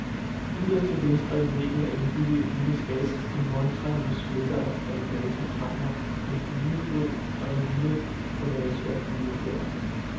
Yderst til venstre i væggen er indbygget et lille skab, en montre med smykker af alligatorkranier, en fuglefod og en lille collage af fuglefjer.